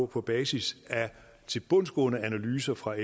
på basis af tilbundsgående analyser fra